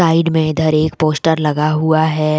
Side में इधर एक पोस्टर लगा हुआ है।